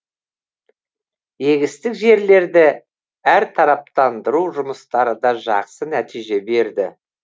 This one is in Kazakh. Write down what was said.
егістік жерлерді әртараптандыру жұмыстары да жақсы нәтиже берді